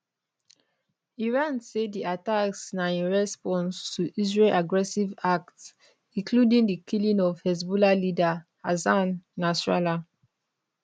iran say di attacks na in response to israel aggressive acts including di killing of hezbollah leader hassan nasrallah